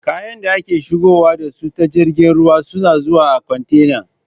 Kayan da ake shigowa da su ta jirgin ruwa suna zuwa a kwantena